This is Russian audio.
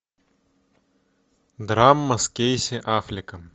драма с кейси аффлеком